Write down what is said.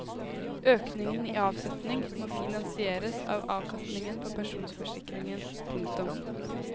Økningen i avsetning må finansieres av avkastningen på pensjonsforsikringen. punktum